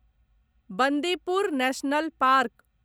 Bandipur national park